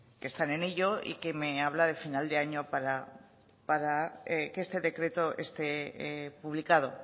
que están en ello y que me hablan de final de año para que este decreto esté publicado